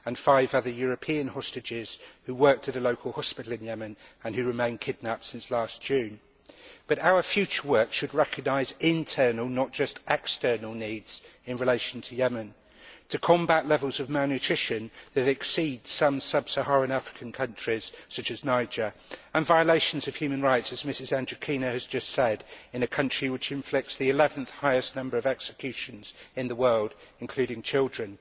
and five other European hostages, who worked at a local hospital in Yemen and who remain kidnapped since last June. But our future work should recognise internal, not just external, needs in relation to Yemen. To combat levels of malnutrition that exceed some sub Saharan African countries, such as Niger, and violations of human rights, as Mrs Andrikienė has just said, in a country which inflicts the 11th highest number of executions in the world, including children.